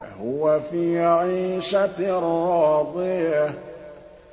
فَهُوَ فِي عِيشَةٍ رَّاضِيَةٍ